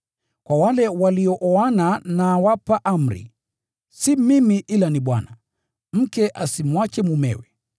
Kwa wale waliooana nawapa amri (si mimi ila ni Bwana): Mke asitengane na mumewe.